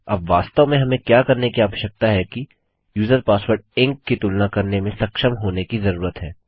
अब वास्तव में हमें क्या करने की आवश्यकता है कि यूजर पासवर्ड ईएनसी की तुलना करने में सक्षम होने की जरूरत है